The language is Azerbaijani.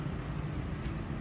Bəli, nəyə görə?